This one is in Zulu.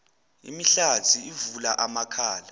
imihlathi uvula amakhala